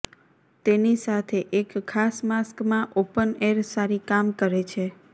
તેની સાથે એક ખાસ માસ્ક માં ઓપન એર સારી કામ કરે છે